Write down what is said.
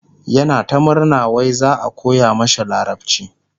yana ta murna wai za'a koya mashi larabci